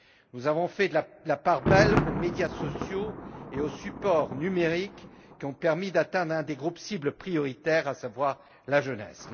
Nous avons fait la part belle aux médias sociaux et aux supports numériques, qui ont permis d'atteindre un des groupes cibles prioritaires, à savoir la jeunesse.